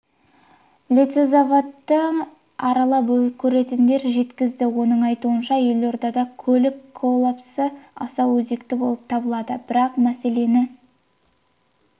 лесозаводты аралап көретінін жеткізді оның айтуынша елордада көлік коллапсы аса өзекті болып табылады бірақ мәселені